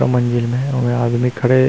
और मंजिल में हे वे आदमी खड़े--